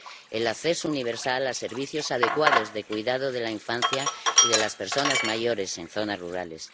el acceso universal a servicios adecuados de cuidado de la infancia y de las personas mayores en zonas rurales